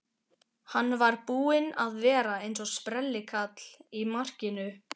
Hann var búinn að vera eins og sprellikall í markinu.